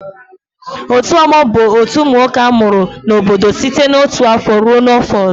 Otu ọgbọ bụ otu umunwoke amụrụ n'obodo site na otu afọ ruo na afọ ọzọ.